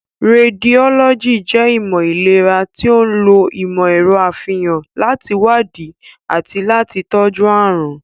Rédiólọ́jì jẹ́ ìmọ̀ ìlera to ń lo ìmọ̀ ẹ̀rọ àfihàn láti wádìí àti láti tọ́jú àrùn.